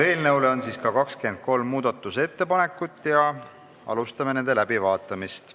Eelnõu kohta on ka 23 muudatusettepanekut, alustame nende läbivaatamist.